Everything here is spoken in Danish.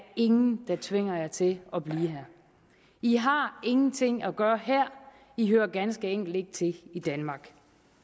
ingen der tvinger jer til at blive her i har ingenting at gøre her i hører ganske enkelt ikke til i danmark